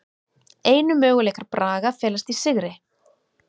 Einu möguleikar Braga felast í sigri